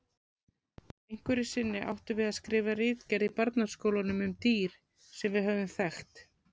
Einhverju sinni áttum við að skrifa ritgerð í barnaskólanum um dýr sem við höfðum þekkt.